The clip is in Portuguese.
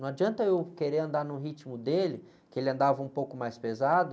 Não adianta eu querer andar no ritmo dele, que ele andava um pouco mais pesado.